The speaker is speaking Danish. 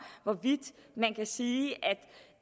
hvorvidt man kan sige